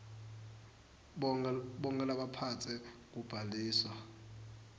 bonkhe labaphetse kubhaliswa